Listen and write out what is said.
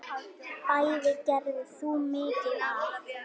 Bæði gerðir þú mikið af.